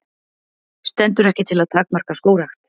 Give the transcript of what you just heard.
Stendur ekki til að takmarka skógrækt